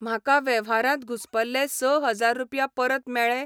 म्हाका वेव्हारांत घुसपल्ले स हजार रुपया परत मेळ्ळे?